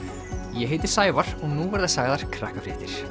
ég heiti Sævar og nú verða sagðar Krakkafréttir